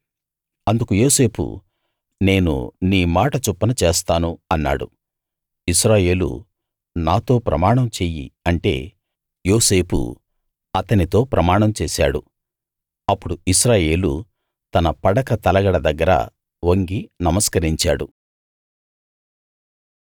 అందుకు యోసేపు నేను నీ మాట చొప్పున చేస్తాను అన్నాడు ఇశ్రాయేలు నాతో ప్రమాణం చెయ్యి అంటే యోసేపు అతనితో ప్రమాణం చేశాడు అప్పుడు ఇశ్రాయేలు తన పడక తలగడ దగ్గర వంగి నమస్కరించాడు